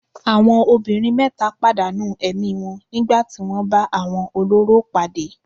Àwọn obìnrin mẹ́ta padà nù ẹ̀mí wọn nígbà tí wọ́n bá àwọn olórò pàdé.